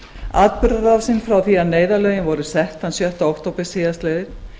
atburðarásin frá því að neyðarlögin voru sett þann sjötta október síðastliðinn